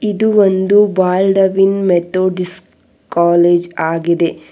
ಇದು ಒಂದು Baldwin Methodist college ಆಗಿದೆ.